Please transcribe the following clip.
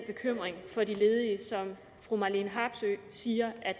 bekymring for de ledige som fru marlene harpsøe siger